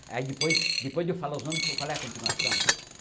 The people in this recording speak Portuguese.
Aí depois depois de eu falar os nomes, que eu falo a continuação?